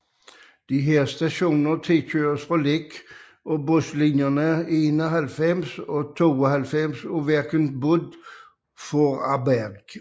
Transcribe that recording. Disse stationer tilkøres fra Lech med buslinjerne 91 og 92 af Verkehrsverbund Vorarlberg